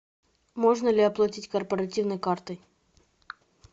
можно ли оплатить корпоративной картой